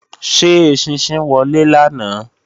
Ṣé eṣinṣin wọlé lánàá?